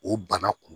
O bana kun